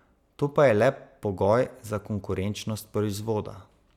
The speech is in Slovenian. To pa je le pogoj za konkurenčnost proizvoda.